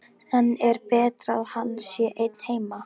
En er betra að hann sé einn heima?